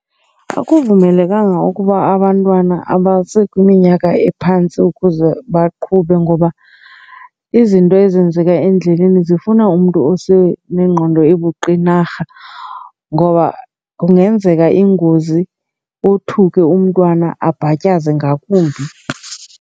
Ukuvumelekanga ukuba abantwana abasekwiminyaka ephantsi ukuze baqhube ngoba izinto ezenzeka endleleni zifuna umntu osenengqondo ebuqinarha. Ngoba kungenzeka ingozi othuke umntwana, abhatyaza ngakumbi.